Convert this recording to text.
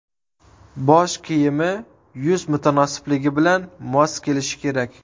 Bosh kiyimi yuz mutanosibligi bilan mos kelishi kerak.